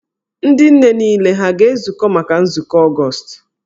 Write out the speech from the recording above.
Ndị nne niile ha a ga-ezukọ maka nzukọ Ọgọọst?